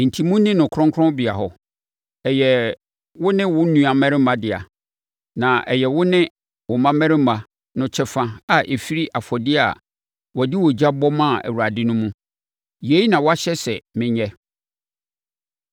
Enti monni no kronkronbea hɔ. Ɛyɛ wo ne wo mmammarima dea, na ɛyɛ wo ne wo mmammarima no kyɛfa a ɛfiri afɔdeɛ a wɔde ogya bɔ maa Awurade no mu. Yei na wɔahyɛ sɛ menyɛ.